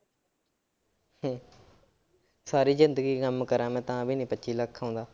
ਸਾਰੀ ਜ਼ਿੰਦਗੀ ਕੰਮ ਕਰਾਂ ਮੈਂ ਤਾਂ ਵੀ ਨੀ ਪੱਚੀ ਲੱਖ ਆਉਂਦਾ।